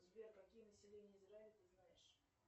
сбер какие населения израиля ты знаешь